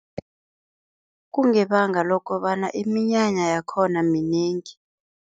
Kungebanga lokobana iminyanya yakhona minengi.